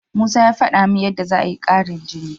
Musa ya faɗa min yadda za'a yi ƙarin jini.